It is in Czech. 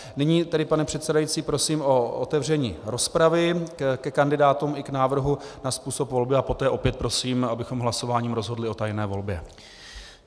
Nyní tedy, pane předsedající, prosím o otevření rozpravy ke kandidátům i k návrhu na způsob volby a poté opět prosím, abychom hlasováním rozhodli o tajné volbě.